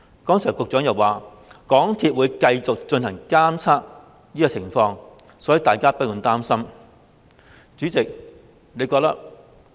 剛才局長又提到，港鐵公司會繼續進行監察工作，所以大家不用擔心。